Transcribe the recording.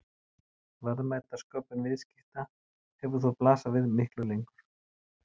Verðmætasköpun viðskipta hefur þó blasað við miklu lengur.